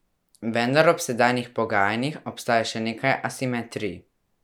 Vendar ob sedanjih pogajanjih obstaja še nekaj asimetrij.